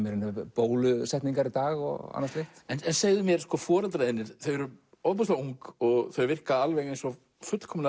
bólusetningar í dag og annað slíkt en segðu mér foreldrar þínir eru ofboðslega ung og þau virka alveg eins og fullkomlega